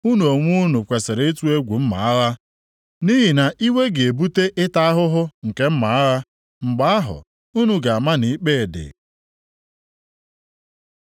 unu onwe unu kwesiri ịtụ egwu mma agha; nʼihi na iwe ga-ebute ịta ahụhụ nke mma agha, mgbe ahụ, unu ga-ama na ikpe dị.”